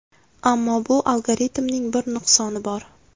Ammo bu algoritmning bir nuqsoni bor.